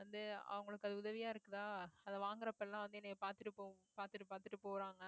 வந்து அவங்களுக்கு அது உதவியா இருக்குதா அதை வாங்குறப்ப எல்லாம் வந்து என்னைய பார்த்துட்டு போகும் பார்த்துட்டு பார்த்துட்டு போறாங்க